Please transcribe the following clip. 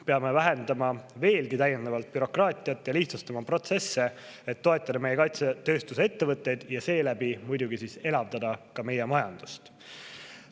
Peame vähendama veelgi bürokraatiat ja lihtsustama protsesse, et toetada meie kaitsetööstuse ettevõtteid ja seeläbi muidugi elavdada meie majandust.